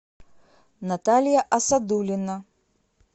наталья асадулина